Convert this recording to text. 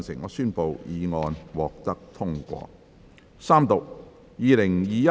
我宣布議案獲得通過。